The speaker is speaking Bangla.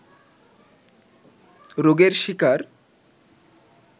রোগের শিকার